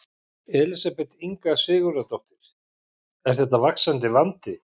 Elísabet Inga Sigurðardóttir: Er þetta vaxandi vandi?